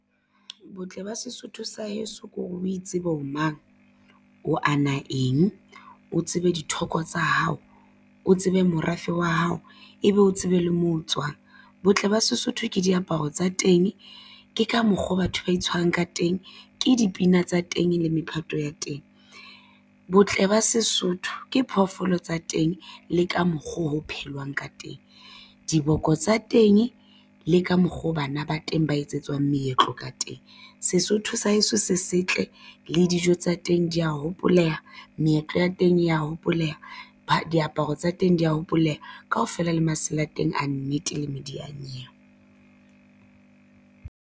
Botle ba Sesotho sa heso ke hore o itsebe o mang o ana eng o tsebe dithoko tsa hao o tsebe morafe wa hao ebe o tsebe le moo o tswang botle ba Sesotho ke diaparo tsa teng. Ke ka mokgo batho ba itshwarang ka teng ke dipina tsa teng le mephato ya teng. Botle ba Sesotho ke phoofolo tsa teng le ka mokgo ho phelwang ka teng. Diboko tsa teng le ka mokgo bana ba teng ba etsetswang meetlo ka teng. Sesotho sa heso se setle le dijo tsa teng di ya hopoleha meetlo ya teng e ya hopoleha diaparo tsa teng di hopoleha kaofela le masela a teng a nnete le medianyewe.